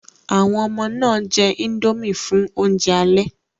Àwọn ọmọ náà jẹ indomie fún oúnjẹ alẹ́